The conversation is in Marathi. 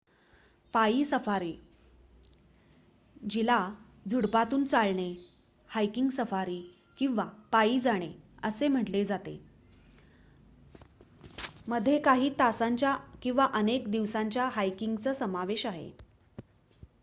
"पायी सफारी जिला "झुडूपांतून चालणे" "हायकिंग सफारी" किंवा "पायी" जाणे असेही म्हटले जाते मध्ये काही तासांच्या किंवा अनेक दिवसांच्या हायकिंगचा समावेश आहे.